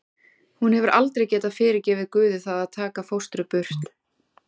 Hún hefur aldrei getað fyrirgefið Guði það að taka fóstru burt.